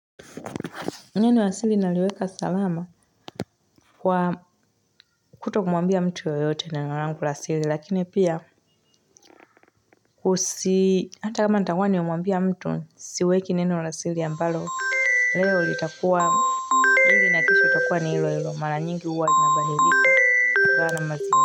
Neno la siri naliweka salama kwa kuto kumuambia mtu yoyote na neno langu wa siri lakini pia kusi hata kama itakuwa ni umambia mtu siweki neno la sili ambalo leo itakuwa nini na kesho itakuwa ni ilo ilo mara nyingi uwa lina badilika kwaana mazini.